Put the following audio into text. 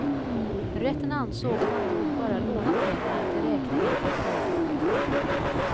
Rätten ansåg att han nog bara lånat pengarna till räkningen av företaget.